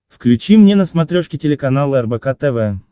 включи мне на смотрешке телеканал рбк тв